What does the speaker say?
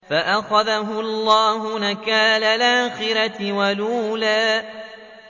فَأَخَذَهُ اللَّهُ نَكَالَ الْآخِرَةِ وَالْأُولَىٰ